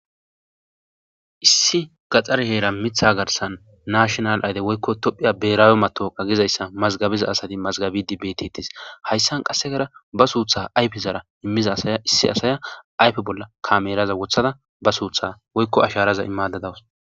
Issi gaxxar heera mitha garsan naashonal ayde woykko tophiya beeraawe matoqa gizayssa mazgabiza asati mazgabi di betetis hayssan qassegara ba suutha ayfe zara immiza aayissi asaya ayfe bolla kameraza wothada ba suutha woykko asharaza imadadawus.